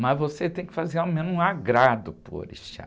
Mas você tem que fazer ao menos um agrado para o orixá.